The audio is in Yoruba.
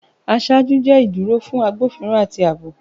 Aṣáájú jẹ iduro fun agbofinro ati aabo.